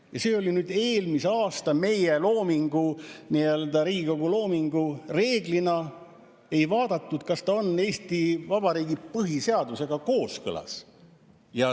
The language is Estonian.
Ja see oli eelmise aasta meie loomingu, Riigikogu loomingu puhul vaadatud, kas ta on Eesti Vabariigi põhiseadusega kooskõlas.